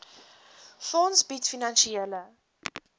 fonds bied finansiële